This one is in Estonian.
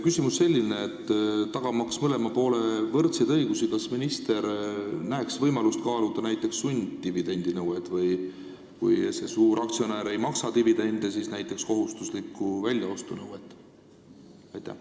Küsimus on selline: kas minister, tagamaks mõlema poole võrdseid õigusi, näeks võimalust kaaluda näiteks sunddividendinõuet või siis, kui suuraktsionär ei maksa dividende, näiteks kohustuslikku väljaostunõuet?